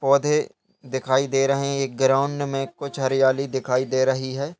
पौधे दिखाई दे रहे हैं। एक ग्राउंड में कुछ हरियाली दिखाई दे रही है।